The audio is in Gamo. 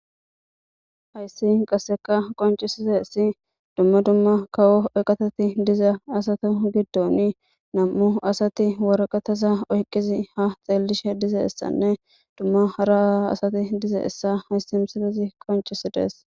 hayssi qasseka qoncisiteessi dumma dumma kawo eqatati diza asato giddoni nam'u asati waraqatasa oyqqizi ha xeellishe dizeessanne dumma hara asati dizeessa hayssi misilesi qoncisidees.